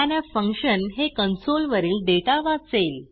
scanf function हे console वरील data वाचेल